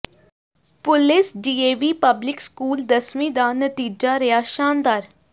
police DAV public school ਦਸਵੀਂ ਦਾ ਨਤੀਜਾ ਰਿਹਾ ਸ਼ਾਨਦਾਰ